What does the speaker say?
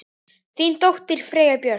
Þín dóttir, Freyja Björk.